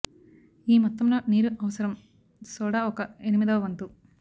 ఈ మొత్తంలో నీరు అవసరం సోడా ఒక ఎనిమిదవ వంతు